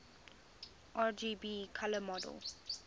rgb color model